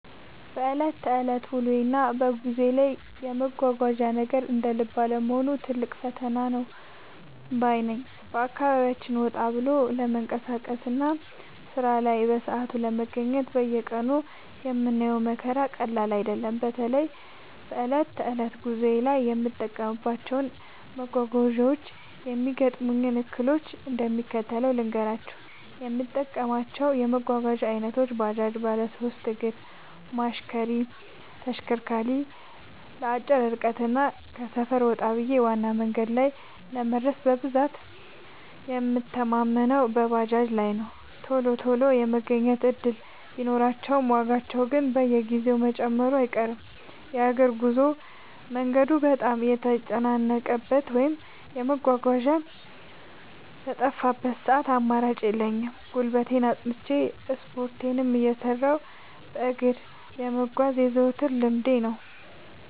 በዕለት ተዕለት ውሎዬና በጉዞዬ ላይ የመጓጓዣ ነገር እንደ ልብ አለመሆኑ ትልቅ ፈተና ነው ባይ ነኝ። በአካባቢያችን ወጣ ብሎ ለመንቀሳቀስና ሥራ ላይ በሰዓቱ ለመገኘት በየቀኑ የምናየው መከራ ቀላል አይደለም። በተለይ በዕለት ተዕለት ጉዞዬ ላይ የምጠቀማቸውን መጓጓዣዎችና የሚገጥሙኝን እክሎች እንደሚከተለው ልንገራችሁ፦ የምጠቀማቸው የመጓጓዣ ዓይነቶች፦ ባጃጅ (ባለሦስት እግር ማሽነሪ/ተሽከርካሪ)፦ ለአጭር ርቀትና ከሰፈር ወጣ ብሎ ዋና መንገድ ላይ ለመድረስ በብዛት የምንተማመነው በባጃጅ ላይ ነው። ቶሎ ቶሎ የመገኘት ዕድል ቢኖራቸውም፣ ዋጋቸው ግን በየጊዜው መጨመሩ አይቀርም። የእግር ጉዞ፦ መንገዱ በጣም በተጨናነቀበት ወይም መጓጓዣ በጠፋበት ሰዓት አማራጭ የለኝም፤ ጉልበቴን አጽንቼ፣ ስፖርቴንም እየሠራሁ በእግር መጓዝ የዘወትር ልምዴ ነው።